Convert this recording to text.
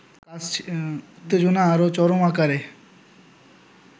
উত্তেজনা আরো চরম আকার